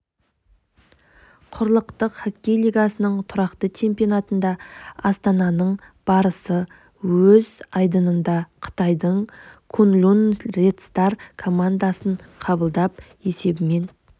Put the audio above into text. құрлықтық хоккей лигасының тұрақты чемпионатында астананың барысы өз айдынында қытайдың куньлунь ред стар командасын қабылдап есебімен